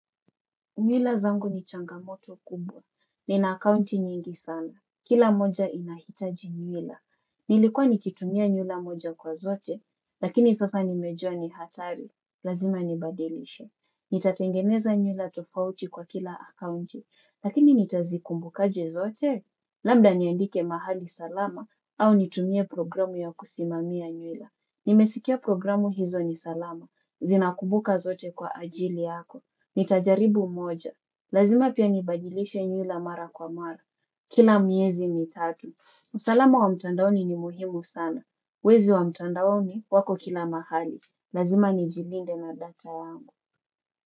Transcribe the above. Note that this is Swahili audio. Mila zangu ni changamoto kubwa. Nina akaunti nyingi sana. Kila moja inahitaji mila. Nilikuwa nikitumia nywila moja kwa zote, lakini sasa nimejua ni hatari. Lazima nibadilishe. Nitatengeneza nywila tofauti kwa kila akaunti, lakini nitazikumbukaje zote. Lambda niandike mahali salama au nitumie programu ya kusimamia nywila. Nimesikia programu hizo ni salama. Zinakumbuka zote kwa ajili yako. Nita jaribu moja. Lazima pia nibadilishe nywila mara kwa mara. Kila miezi mitatu. Usalama wa mtandaoni ni muhimu sana. Wezi wa mtuandaoni wako kila mahali. Lazima ni jilinde na data yangu.